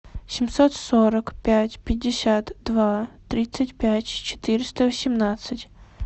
семьсот сорок пять пятьдесят два тридцать пять четыреста восемнадцать